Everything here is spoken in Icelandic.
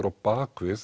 á